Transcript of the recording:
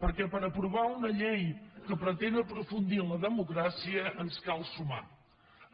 perquè per aprovar una llei que pretén aprofundir en la democràcia ens cal sumar